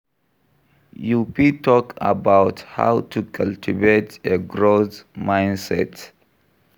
You fit talk about how to cultivate a growth mindset.